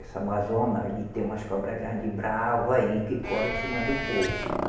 Essa Amazônia aí tem umas cobra grande, brava aí, que correm em cima do povo.